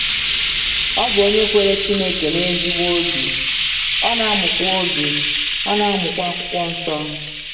Ọ bụ onye kwere Chineke n’ezigbo obi, ọ na-amụkwa obi, ọ na-amụkwa Akwụkwọ Nsọ.